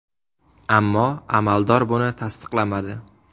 Ammo amaldor buni tasdiqlamadi.